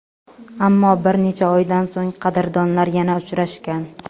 Ammo bir necha oydan so‘ng qadrdonlar yana uchrashgan.